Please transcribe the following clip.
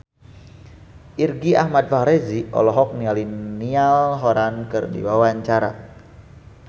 Irgi Ahmad Fahrezi olohok ningali Niall Horran keur diwawancara